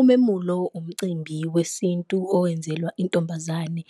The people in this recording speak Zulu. Umemulo umcimbi wesintu owenzelwa intombazane